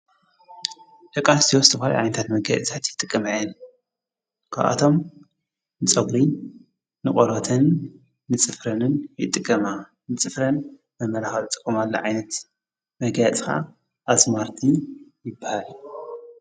ደቂ ኣንስትዮ ዝተፈላለዩ ዓይነታት መጋየፂታት ይጥቀማ እየን ካብ ኣቶም ንፀጉሪ ንቖርበተን ንፅፍረንን ይጥቀማ ንጽፍረን መመላኸዒ ዝጥቀማሉ ዓይነት መጋየፂ ኽዓ ኣዝማሪቶ ይበሃል